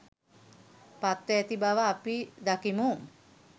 පත්ව ඇති බව අපි දකිමු.